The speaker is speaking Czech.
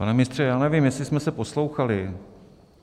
Pane ministře, já nevím, jestli jsme se poslouchali.